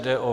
Jde o